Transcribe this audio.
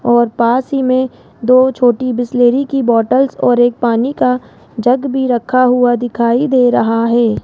और पास ही मे दो छोटी बिसलेरी की बॉटल्स और एक पानी का जग भी रखा हुआ दिखाई दे रहा है।